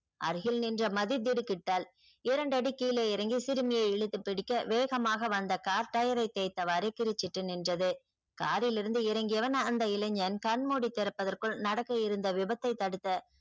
அருகில் நின்ற மாதிரி திடுக்கிட்டாள் இரண்டு அடி கீழே இறங்கி சிறுமியை இழுத்து பிடிக்க வேகமாக வந்த கார் tyre ரை தேய்த்தவாரு கிரிச்சிட்டு நின்றது காரிலிருந்து இறங்கியவன் அந்த இளைஞன் கண்மூடி திறப்பதற்குள் நடக்கவிருந்த விபத்தை தடுத்த